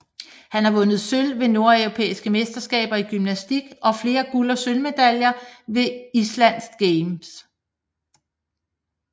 Han har vundet sølv ved Nordeuropæiske Mesterskaber i gymnastik og flere guld og sølvmedaljer ved Island Games